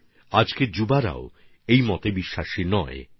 আর আজ আমরা দেখছি দেশের নবীন প্রজন্মও এরকম ভাবনার পক্ষে একদম নেই